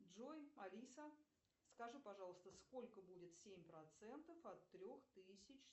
джой алиса скажи пожалуйста сколько будет семь процентов от трех тысяч